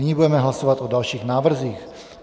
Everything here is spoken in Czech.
Nyní budeme hlasovat o dalších návrzích.